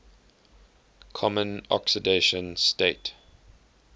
common oxidation state